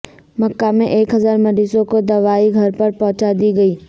مکہ میں ایک ہزار مریضوں کو دوائیں گھر پر پہنچا دی گئیں